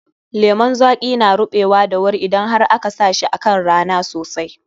Lemun zaƙi na ruɓewa da wuri idan har aka sa shi kan rana sosai.